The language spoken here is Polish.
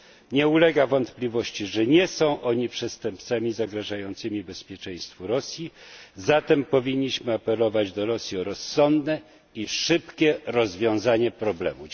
Nie ulega wątpliwości, że nie są oni przestępcami zagrażającymi bezpieczeństwu Rosji, zatem powinniśmy apelować do Rosji o rozsądne i szybkie rozwiązanie problemu.